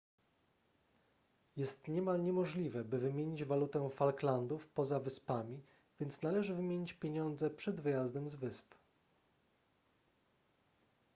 jest niemal niemożliwe by wymienić walutę falklandów poza wyspami więc należy wymienić pieniądze przed wyjazdem z wysp